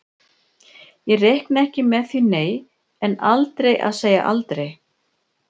Ég reikna ekki með því nei, en aldrei að segja aldrei.